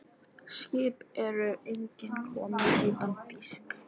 Skip eru engin komin utan þýsk.